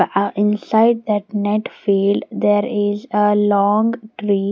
ah inside that net field there is a long tree --